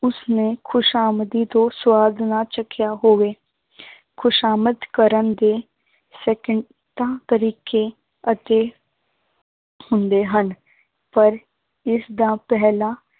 ਉਸਨੇ ਖ਼ੁਸ਼ਾਮਦੀ ਤੋਂ ਸਵਾਦ ਨਾ ਚੱਖਿਆ ਹੋਵੇ ਖ਼ੁਸ਼ਾਮਦ ਕਰਨ ਦੇ ਸਕਿੰਟਾਂ ਤਰੀਕੇ ਅਤੇ ਹੁੰਦੇ ਹਨ, ਪਰ ਇਸਦਾ ਪਹਿਲਾ